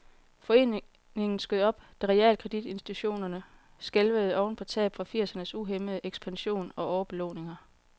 Foreningen skød op, da realkreditinstitutterne skælvede oven på tab fra firsernes uhæmmede ekspansion og overbelåninger.